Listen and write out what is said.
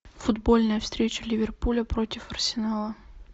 футбольная встреча ливерпуля против арсенала